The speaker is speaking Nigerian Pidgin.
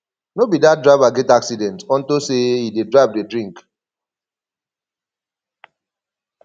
no be dat driver get accident unto say he dey drive dey drink